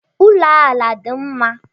Ụlọ ala dị mma